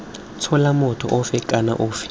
tshola motho ofe kana ofe